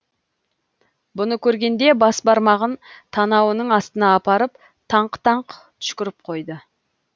бұны көргенде бас бармағын танауының астына апарып таңқ таңқ түшкіріп қойды